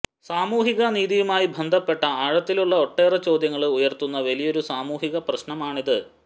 സാമൂഹിക നീതിയുമായി ബന്ധപ്പെട്ട ആഴത്തിലുള്ള ഒട്ടേറെ ചോദ്യങ്ങള് ഉയര്ത്തുന്ന വലിയൊരു സാമൂഹികപ്രശ്നമാണത്